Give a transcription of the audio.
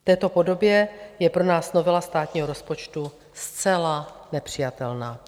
V této podobě je pro nás novela státního rozpočtu zcela nepřijatelná.